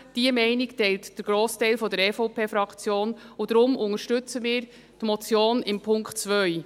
Diese Meinung teilt der Grossteil der EVP-Fraktion, und wir unterstützen deshalb die Motion im Punkt 2.